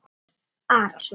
Örn Arason.